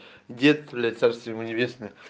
дед блять царствие ему небесное